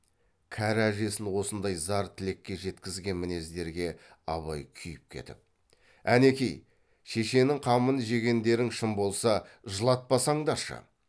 кәрі әжесін осындай зар тілекке жеткізген мінездерге абай күйіп кетіп әнеки шешенің қамын жегендерің шын болса жылатпасаңдаршы